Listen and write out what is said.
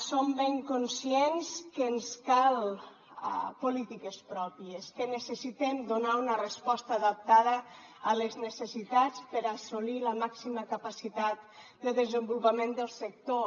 som ben conscients que ens cal polítiques pròpies que necessitem donar una resposta adaptada a les necessitats per assolir la màxima capacitat de desenvolupament del sector